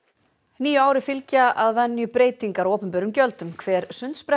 nýju ári fylgja að venju breytingar á opinberum gjöldum hver